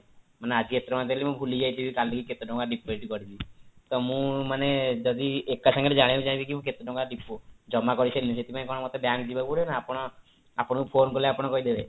ମାନେ ଆଜି ଏତେ ଟଙ୍କା ଦେଲି ମୁଁ ଭୁଲିଯାଇଥିବି କାଲିକୁ କେତେ ଟଙ୍କା deposit କରିବ ତ ମୁଁ ମାନେ ଯଦି ଏକା ସାଙ୍ଗରେ ଜାଣିବାକୁ ଚାହିଁବି କି ମୁଁ କେତେ ଟଙ୍କା depo ଜମା କରିସାରିଲିଣି ସେଥିପାଇଁ କଣ ମୋତେ bank ଯିବା ପାଇନେ ପଡିବ ନା ଆପଣଙ୍କୁ phone କାଲେ ଆପଣ କହିଦେବେ